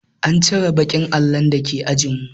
An cire baƙin allon da ke ajin mu